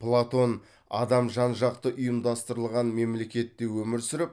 платон адам жан жақты ұйымдастырылған мемлекетте өмір сүріп